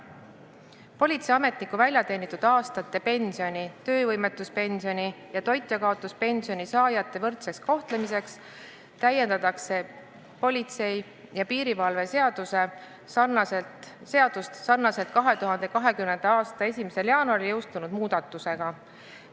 Politseiametniku väljateenitud aastate pensioni, töövõimetuspensioni ja toitjakaotuspensioni saajate võrdseks kohtlemiseks täiendatakse politsei ja piirivalve seadust sarnaselt 2020. aasta 1. jaanuaril jõustunud muudatusega.